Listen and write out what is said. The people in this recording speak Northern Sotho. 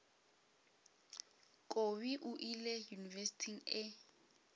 kobi o ile yunibesithing e